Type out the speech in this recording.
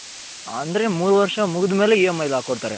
ಅಂದ್ರೆ ಮೂರು ವರ್ಷ ಮುಗಿದಮೇಲೆ EMI ಗೆ ಅಕ್ಕೊಡ್ತಾರೆ.